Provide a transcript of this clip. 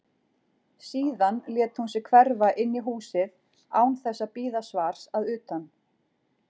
Síðan lét hún sig hverfa inn í húsið án þess að bíða svars að utan.